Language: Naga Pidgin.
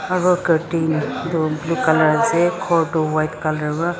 aru curtain toh blue colour asa ghor toh white colour para.